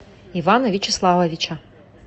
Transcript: ивана вячеславовича